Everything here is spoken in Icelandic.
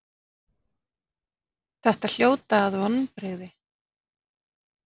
Þetta hljóta að vonbrigði?